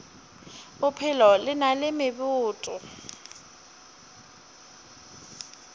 bophelo le na le meboto